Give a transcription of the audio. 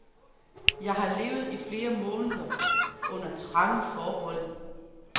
Jeg har levet i flere måneder under trange forhold.